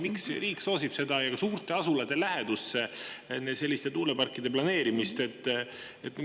Miks riik soosib selliste tuuleparkide suurte asulate lähedusse planeerimist?